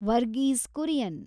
Varghese Kurian